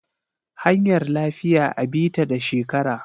Hanyar lafiya a bi ta da shekara.